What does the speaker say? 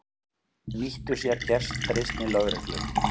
Nýtti sér gestrisni lögreglu